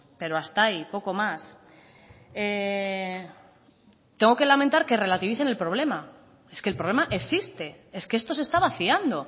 pero hasta ahí poco más tengo que lamentar que relativicen el problema es que el problema existe es que esto se está vaciando